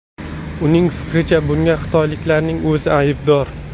Uning fikricha, bunga xitoyliklarning o‘zi aybdor.